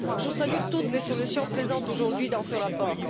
Je salue toutes les solutions présentes aujourd'hui dans ce rapport.